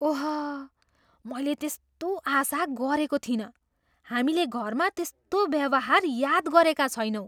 ओह, मैले त्यस्तो आशा गरेको थिइनँ। हामीले घरमा त्यस्तो व्यवहार याद गरेका छैनौँ।